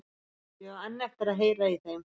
Ég á enn eftir að heyra í þeim.